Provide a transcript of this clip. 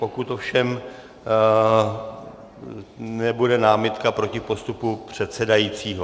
Pokud ovšem nebude námitka proti postupu předsedajícího.